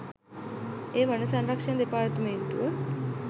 එය වන සංරක්ෂණ දෙපාර්තමේන්තුව